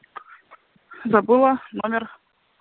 забыла номер